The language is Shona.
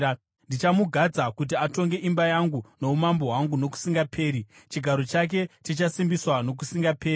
Ndichamugadza kuti atonge imba yangu noumambo hwangu nokusingaperi; chigaro chake chichasimbiswa nokusingaperi.’ ”